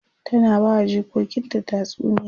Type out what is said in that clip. ta na bawa jikokinta tatsuniya